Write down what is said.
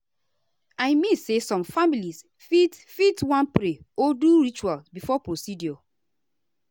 i mean say some families fit fit wan pray or do ritual before procedure.